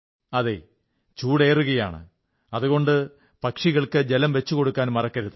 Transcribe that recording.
അതെ ചൂടേറുകയാണ് അതുകൊണ്ട് പക്ഷികൾക്ക് ജലം വച്ചുകൊടുക്കാൻ മറക്കരുത്